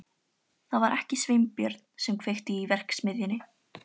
Það var ekki Sveinbjörn sem kveikti í verksmiðjunni.